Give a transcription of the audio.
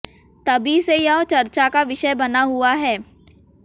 तभी से यह चर्चा का विषय बना हुआ है